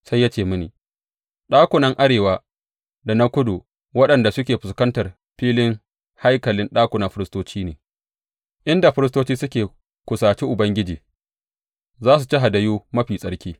Sai ya ce mini, Ɗakunan arewa da na kudu waɗanda suke fuskantar filin haikali ɗakunan firistoci ne, inda firistocin da suke kusaci Ubangiji za su ci hadayu mafi tsarki.